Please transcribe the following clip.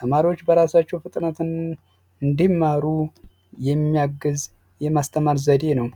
ተማሪዎች በራሳቸው ፍጥነትን እንዲማሩ የሚያገዝ የማስተማር ዘዴ ነው